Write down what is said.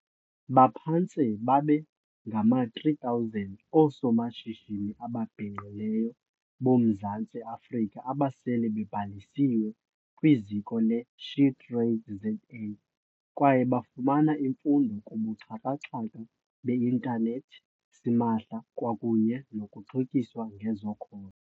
Baphantse babe ngama-3 000 oosomashishini ababhinqileyo boMzantsi Afrika abasele bebhalisiwe kwiZiko le-SheTradesZA kwaye bafumana imfundo kubuxhaka-xhaka be intanethi simahla kwakunye nokuxhotyiswa ngezakhono.